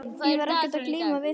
Ég var ekkert að glíma við þetta.